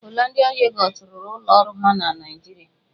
Holandịa Yogọt rụrụ ụlọ ọrụ ha na Naịjirịa.